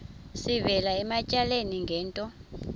sivela ematyaleni ngento